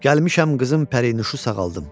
Gəlmişəm qızım pərinüşü sağaldım.